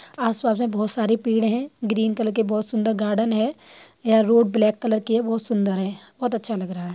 आस-पास में बहुत सारी पेड़ हैं ग्रीन कलर के बहुत सुंदर गार्डन है यह रोड ब्लैक कलर की है बहुत सुंदर है बहुत अच्छा लग रहा है।